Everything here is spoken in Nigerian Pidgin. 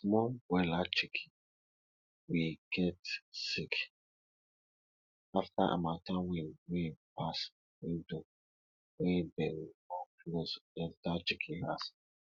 di small broiler chiken we get sick afta harmattan wind wey pass window wey dem no close enter chiken house